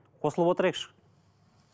қосылып отырайықшы